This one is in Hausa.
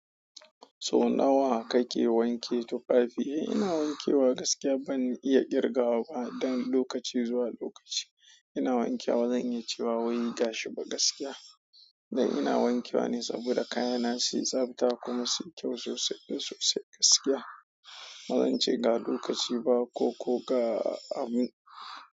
So nawa kake wanke tufafi? Ina wanke wa gaskiya ban iya ƙirgawa ba, dan lokaci zuwa lokaci ina wankewa ba zan iya cewa wai gashi ba gaskiya dan ina wanke wa ne saboda kayana su yi tsabta kuma su yi kyau sosai sosai gaskiya. Bazan ce ga lokaci ba ko ko ga amin.